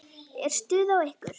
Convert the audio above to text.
Er stuð á ykkur?